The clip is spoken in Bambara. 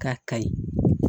K'a kayi